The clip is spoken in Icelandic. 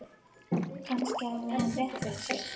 Kannski hafði hann rétt fyrir sér.